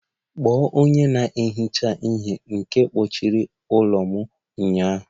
Kpọọ onye na-ehicha ihe nke kpochara ụlọ m ụnyaahụ!